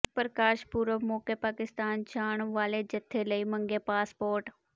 ਪ੍ਰਕਾਸ਼ ਪੁਰਬ ਮੌਕੇ ਪਾਕਿਸਤਾਨ ਜਾਣ ਵਾਲੇ ਜਥੇ ਲਈ ਮੰਗੇ ਪਾਸਪੋਰਟ